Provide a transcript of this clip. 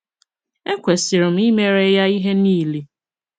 Ekwesịrị m imere ya ihe niile.